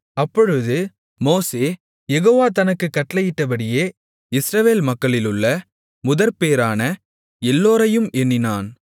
அப்பொழுது மோசே யெகோவா தனக்குக் கட்டளையிட்டபடியே இஸ்ரவேல் மக்களிலுள்ள முதற்பேறான எல்லோரையும் எண்ணினான்